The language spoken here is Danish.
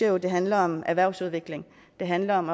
jo det handler om erhvervsudvikling det handler om